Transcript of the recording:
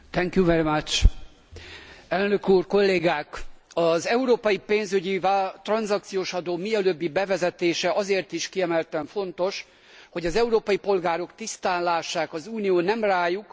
Az európai pénzügyi tranzakciós adó mielőbbi bevezetése azért is kiemelten fontos, hogy az európai polgárok tisztán lássák, az Unió nem rájuk, hanem a pénzügyi szektorra helyezi a válság terheit.